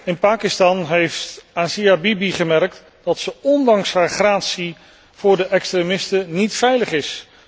In Pakistan heeft Asia Bibi gemerkt dat ze ondanks haar gratie voor de extremisten niet veilig is.